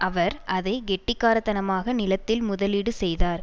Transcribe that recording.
அவர் அதை கெட்டிக்காரத்தனமாக நிலத்தில் முதலீடு செய்தார்